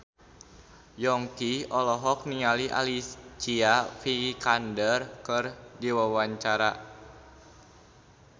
Yongki olohok ningali Alicia Vikander keur diwawancara